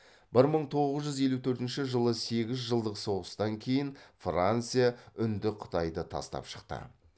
бір мың тоғыз жүз елу төртінші жылы сегіз жылдық соғыстан кейін франция үндіқытайды тастап шықты